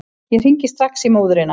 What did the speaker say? Ég hringi strax í móðurina.